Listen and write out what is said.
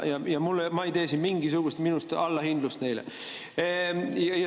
Ma ei tee siin neile mingisugust allahindlust.